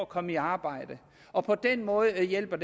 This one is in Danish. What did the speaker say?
kommer i arbejde og på den måde hjælper